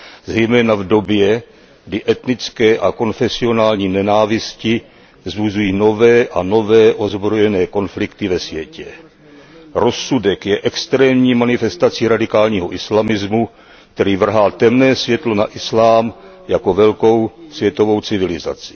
Zejména v době, kdy etnické a konfesionální nenávisti vzbuzují nové a nové ozbrojené konflikty ve světě. Rozsudek je extrémní manifestací radikálního islamismu, který vrhá temné světlo na islám jako velkou světovou civilizaci.